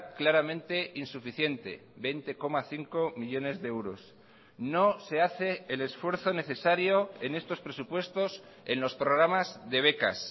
claramente insuficiente veinte coma cinco millónes de euros no se hace el esfuerzo necesario en estos presupuestos en los programas de becas